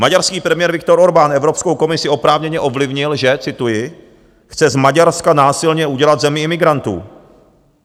Maďarský premiér Viktor Orbán Evropskou komisi oprávněně ovlivnil , že - cituji - chce z Maďarska násilně udělat zemi imigrantů.